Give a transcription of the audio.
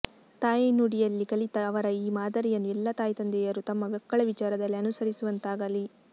ತಾಯ್ನುಡಿಯಲ್ಲಿ ಕಲಿತ ಅವರ ಈ ಮಾದರಿಯನ್ನು ಎಲ್ಲ ತಾಯ್ತಂದೆಯರೂ ತಮ್ಮ ಮಕ್ಕಳ ವಿಚಾರದಲ್ಲಿ ಅನುಸರಿಸುವಂತಾಗಲಿ